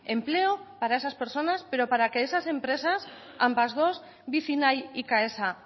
empleo para esas personas pero para que esas empresas ambas dos vicinay y caesa